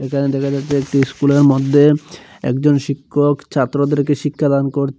এখানে দেখা যাচ্ছে একটি স্কুলের মদ্যে একজন শিক্ষক ছাত্রদেরকে শিক্ষাদান করছে--